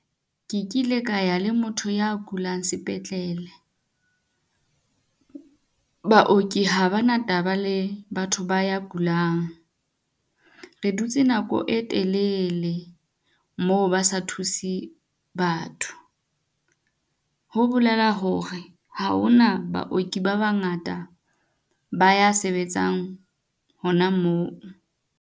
Ke kile ka ya le motho ya kulang sepetlele. Baoki ha ba na taba le batho ba ya kulang. Re dutse nako e telele, moo ba sa thuse batho. Ho bolela hore ha hona baoki ba bangata ba ya sebetsang hona moo.